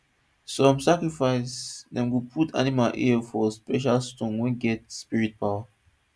some sacrifice dem go put animal ear for special stone wey get spirit power